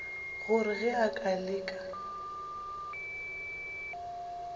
gore ge a ka leka